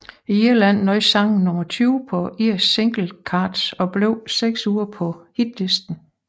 I Irland nåede sangen nummer 20 på Irish Singles Chart og blev seks uger på hitlisten